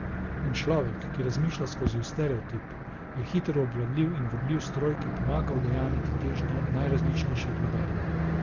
In človek, ki razmišlja skozi stereotip, je hitro obvladljiv in vodljiv stroj, ki pomaga udejanjati težnje najrazličnejših vladarjev.